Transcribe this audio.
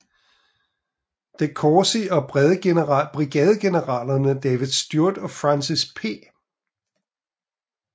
DeCourcy og brigadegeneralerne David Stuart og Francis P